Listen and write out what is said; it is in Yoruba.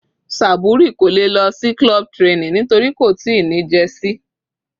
Saburi kò lè lọ sí club training nítorí kò tíì ní jersey.